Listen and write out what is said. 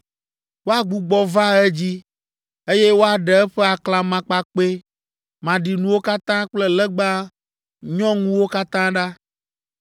“Woagbugbɔ va edzi, eye woaɖe eƒe aklamakpakpɛ maɖinuwo katã kple legba nyɔŋuwo katã ɖa.